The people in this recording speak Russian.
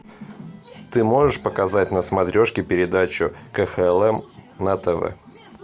ты можешь показать на смотрешке передачу кхлм на тв